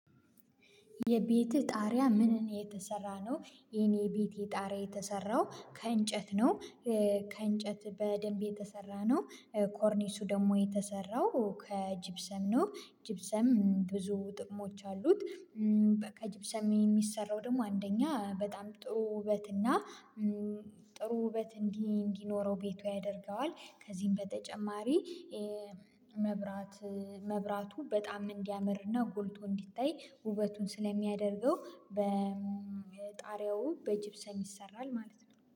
የቤትህ ጣሪያ ምንን ነው? የተሰራ ነው የኔ የቤቴ ጣሪያ የተሰራው ከእንጨት ነው። ከእንጨት በደንብ የተሰራ ነው። ኮርኒሱ ደግሞ የተሰራው ከጅብሰም ነው። ጂብሰም ብዙ ጥቅሞች አሉት። በቃ ጂብሰም የሚሰራው ደግሞ አንደኛ በጣም ጥሩ ውበት እና ጥሩ ውበት እንዲ እንዲኖረው ቤቱ ያደርገዋል። ከዚህም በተጨማሪ መብራት መብራቱ በጣም እንዲያመርና ጎልቶ እንዲታይ ውበቱን ስለሚያደርገው በጣሪያው በጅብሰም ይሰራል። ማለት ነው